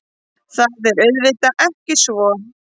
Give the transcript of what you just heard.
Það er auðvitað ekki svo